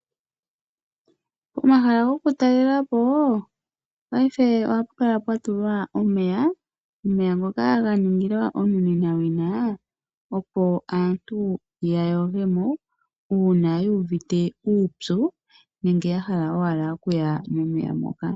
Pomahala gokutalelapo paife ohapu kala pwa tulwa omeya ngoka gatulwamo onomenawina haga opo aantu yayogemo uuna yuuvite uupyu nenge yahala okuya momeya ngoka.